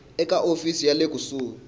eka hofisi ya le kusuhi